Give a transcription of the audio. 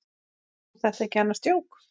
Er þetta ekki annars djók?